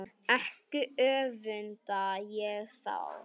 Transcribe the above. Ekki öfunda ég þá